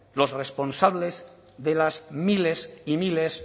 los responsables de las miles y miles